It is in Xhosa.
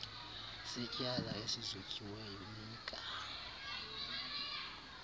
setyala esizotyiweyo nika